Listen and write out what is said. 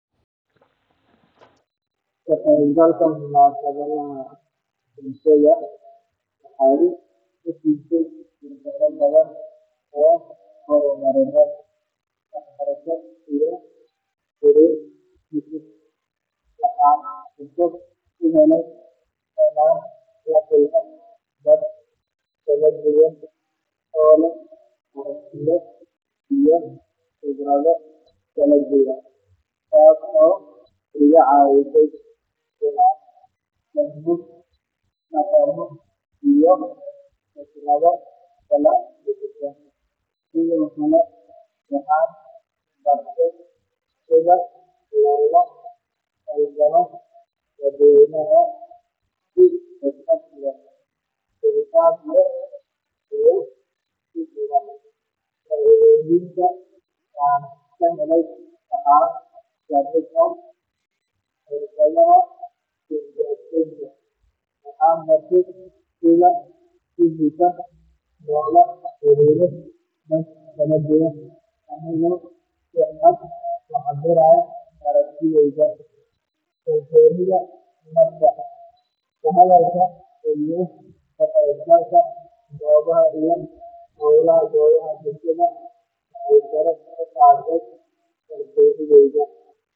Waayo aragnimada ka qeeb galka munasabadaha bulshada waa mid aad u qiimo badan, waxaana lagu deefa faidoyin badan oo la xariira hor marinta xiriirka bulshada, kobcinta aqoonta iyo kor u qaadida wacyiga bulshada, kow xiriir bulsho oo xoogan, ka qeeb galka munasabadaha bulshada waxay fursada u tahay in lala kulmo dad cusub oo laga daxlo xiiriro cusub oo faaido leh.